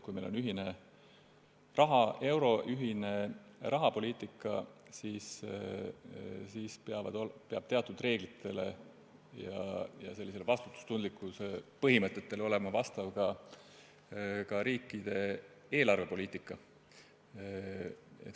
Kui meil on ühine raha, euro, ja ühine rahapoliitika, siis peab teatud reeglitele ja vastutustundlikkuse põhimõtetele vastama ka riikide eelarvepoliitika.